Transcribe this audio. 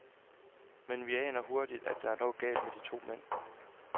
Men vi aner hurtigt, at der er noget galt med de to mænd.